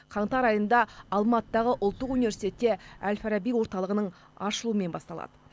қаңтар айында алматыдағы ұлттық университетте әл фараби орталығының ашылуымен басталады